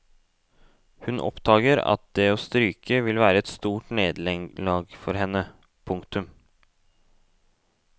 Hun oppdager at det å stryke vil være et stort nederlag for henne. punktum